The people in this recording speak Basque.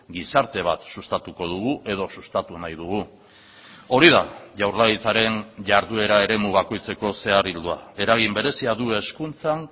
gizarte bat sustatuko dugu edo sustatu nahi dugu hori da jaurlaritzaren jarduera eremu bakoitzeko zehar ildoa eragin berezia du hezkuntzan